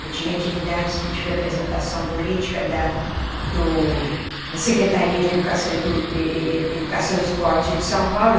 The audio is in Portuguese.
Eu tinha atividades de representação política da do da Secretaria de Educação e e e e Educação Esporte de São Paulo.